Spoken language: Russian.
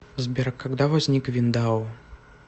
сбер когда возник виндау